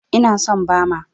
Ina son Bama.